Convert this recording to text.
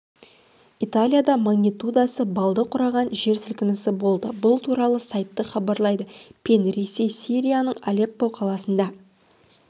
италияда магнитудасы баллды құраған жер сілкінісі болды бұл туралы сайты хабарлайды пен ресей сирияның алеппо қаласында